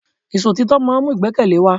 Ìṣọ̀títọ́ máà ń mú ìgbẹ́kẹ̀lé wa.